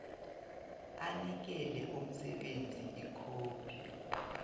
anikele umsebenzi ikhophi